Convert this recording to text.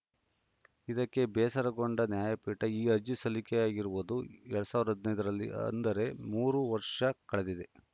ಇದಕ್ಕೆ ಬೇಸರಗೊಂಡ ನ್ಯಾಯಪೀಠ ಈ ಅರ್ಜಿ ಸಲ್ಲಿಕೆಯಾಗಿರುವುದು ಎರಡ್ ಸಾವಿರದ ಹದಿನೈದ ರಲ್ಲಿ ಅಂದರೆ ಮೂರು ವರ್ಷ ಕಳೆದಿದೆ